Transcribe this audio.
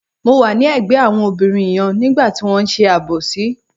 Mo wà ní ẹ̀gbẹ́ àwọn obìnrin yẹn nígbà tí wọ́n ṣe àbòsí.